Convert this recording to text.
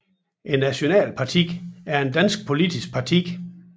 Nationalpartiet er et dansk politisk parti